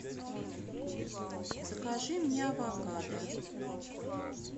закажи мне авокадо